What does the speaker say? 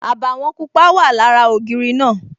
Àbàwọ̀n pupa wà lára ògiri náà